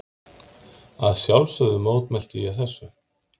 Að sjálfsögðu mótmælti ég þessu.